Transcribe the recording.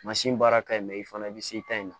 baara ka ɲi mɛ i fana bɛ se i ta in ma